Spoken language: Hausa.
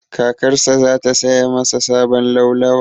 Kakarsa za ta saya masa sabon laulawa.